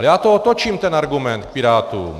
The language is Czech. Ale já to otočím, ten argument, k Pirátům.